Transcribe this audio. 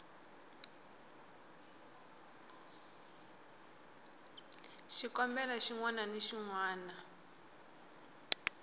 xikombelo xin wana na xin